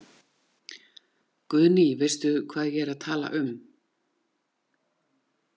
Guðný: Veistu hvað ég er að tala um?